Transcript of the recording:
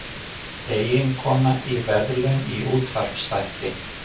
Eiginkona í verðlaun í útvarpsþætti